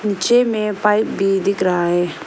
नीचे में पाइप भी दिख रहा है।